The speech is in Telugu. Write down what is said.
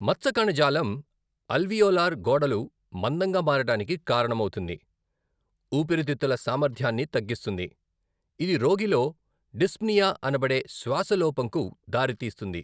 మచ్చ కణజాలం అల్వియోలార్ గోడలు మందంగా మారడానికి కారణమవుతుంది, ఊపిరితిత్తుల సామర్థ్యాన్ని తగ్గిస్తుంది, ఇది రోగిలో డిస్ప్నియా అనబడే శ్వాసలోపంకు దారితీస్తుంది.